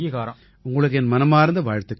உங்களுக்கு என் மனமார்ந்த வாழ்த்துக்கள்